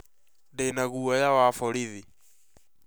Ndĩ na guoya wa borithi